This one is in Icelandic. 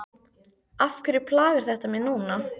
Af hverju plagar þetta mig núna?